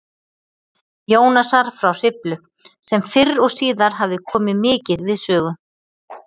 Jónasar frá Hriflu, sem fyrr og síðar hafði komið mikið við sögu